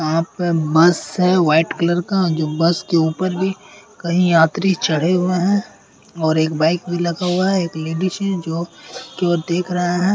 यहाँ पर बस है। व्हाइट कलर का बस के ऊपर भी कई यात्री चढ़े हुए हैं और एक बाइक भी लगा हुआ है और एक लेडीज हैं जो केवल देख रहा है।